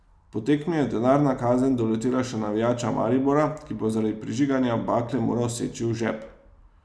Po tekmi je denarna kazen doletela še navijača Maribora, ki bo zaradi prižiganja bakle moral seči v žep.